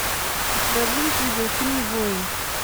у тебя будет видеофильм воин